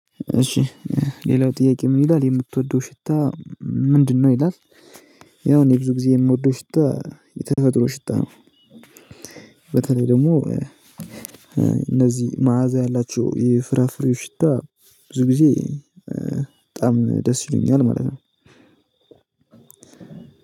እሺ ሌላው ጥያቄ ምን ይላል የምትወደው ሽታ ምንድነው ይላል? ያው እኔ ብዙ ጊዜ የምወደው ሽታ የተፈጥሮ ሽታ ነው። በተለይ ደግሞ እነዚህ መዓዛ ያላቸው የፍራፍሬ ሽታ ብዙ ጊዜ በጣም ደስ ይሉኛል። ማለት ነው።